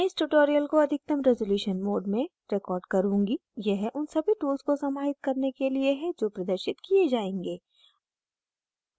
मैं इस tutorial को अधिकतम रेज़ोल्यूशन mode में recording करुँगी यह उन सभी tools को समाहित करने के लिए है जो प्रदर्शित किये जायेंगे